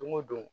Don go don